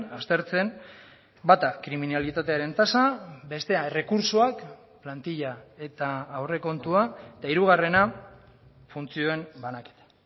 aztertzen bata kriminalitatearen tasa bestea errekurtsoak plantilla eta aurrekontua eta hirugarrena funtzioen banaketa